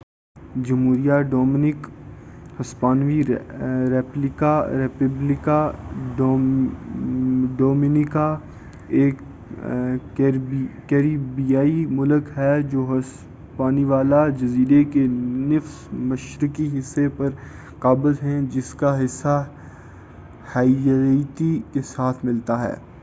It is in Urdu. جمہوریہ ڈومنک ہسپانوی: ریپبلیکا ڈومینیکانا ایک کیریبیائی ملک ہے جو ہسپانیولا جزیرے کے نصف مشرقی حصے پر قابض ہیں، جس کا حصہ ہیئتی کے ساتھ ملتا ہے